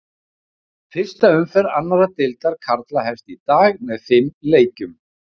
Fyrsta umferð annar deildar karla hefst í dag með fimm leikjum.